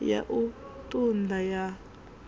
ya u ṱun ḓa ya